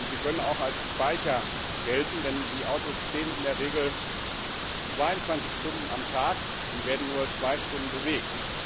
Sie können auch als Speicher gelten, denn die Autos stehen in der Regel 22 Stunden am Tag und werden nur 2 Stunden bewegt.